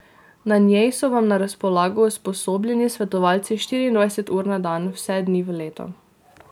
Na njej so vam na razpolago usposobljeni svetovalci štiriindvajset ur na dan vse dni v letu.